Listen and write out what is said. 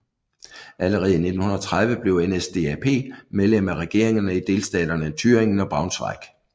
Allerede i 1930 blev NSDAP medlem af regeringerne i delstaterne Thüringen og Braunschweig